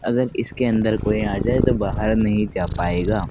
अगर इसके अंदर कोई आ जाए तो बाहर नहीं जा पाएगा।